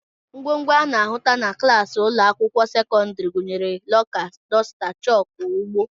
Ngwongwo a na-ahụta na klaasị ụlọakwụkwọ sekọndịrị gụnyere lọka, dosta, chọọkụ, ugbo